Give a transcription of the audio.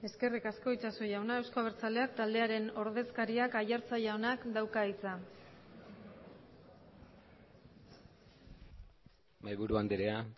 eskerrik asko itxaso jauna euzko abertzaleak taldearen ordezkariak aiartza jaunak dauka hitza mahaiburu andrea